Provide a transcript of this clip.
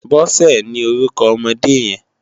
Bose ni órúkò òmòdé yèn